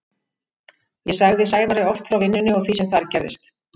Ég sagði Sævari oft frá vinnunni og því sem þar gerðist.